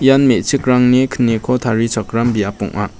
ian me·chikrangni kniko tarichakram biap ong·a.